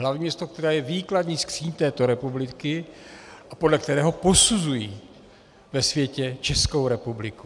Hlavní město, které je výkladní skříň této republiky a podle kterého posuzují ve světě Českou republiku.